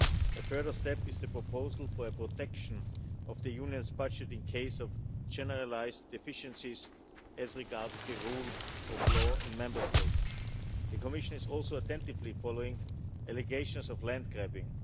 A further step is the proposal for protection of the Union's budget in case of generalised deficiencies as regards the rule of law in Member States. The Commission is also attentively following allegations of land-grabbing.